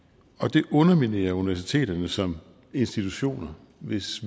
det underminerer universiteterne som institutioner hvis